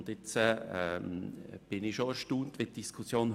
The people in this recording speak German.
Nun erstaunt mich der Verlauf der heutigen Diskussion.